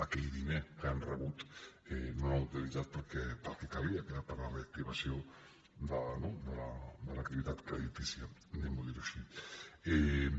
aquell di·ner que han rebut no l’han utilitzat per al que calia que era per a la reactivació de l’activitat creditícia di·guem·ho així